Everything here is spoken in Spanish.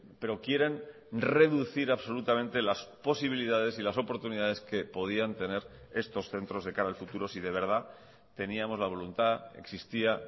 pero quieren reducir absolutamente las posibilidades y las oportunidades que podían tener estos centros de cara al futuro si de verdad teníamos la voluntad existía